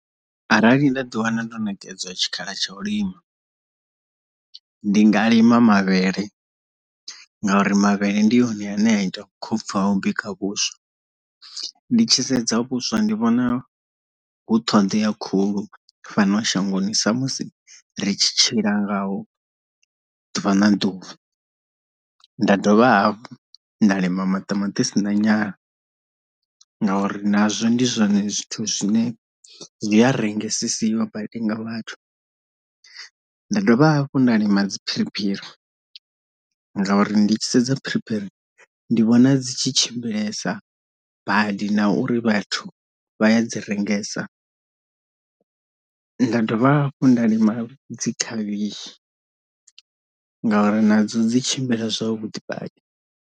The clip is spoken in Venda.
Arali nda ḓi wana ndo ṋekedzwa tshikhala tsha u lima ndi nga lima mavhele, ngauri mavhele ndi one ane a ita vhukhopfhu ha u bika vhuswa. Ndi tshi sedza vho vhuswa ndi vhona hu ṱhoḓea khulu fhano shangoni sa musi ri tshi tshila ngaho ḓuvha na ḓuvha, nda dovha nda lima maṱamaṱisi na nyana ngauri nazwo ndi zwone zwithu zwine zwi a rengesesiwa badi nga vhathu. Nda dovha hafhu nda lima dzi phiriphiri ngauri ndi tshi sedza phiriphiri ndi vhona dzi tshi tshimbilesa badi na uri vhathu vha ya dzi rengesa, nda dovha hafhu nda lima dzi khavhishi ngauri nadzo dzi tshimbila zwavhuḓi badi.